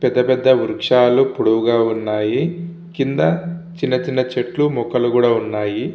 పెద్ద పెద్ద వృక్షాలు పొడువుగా ఉన్నాయి. కింద చిన్న చిన్న చేట్లు గుటల్లు కూడా ఉన్నాయి.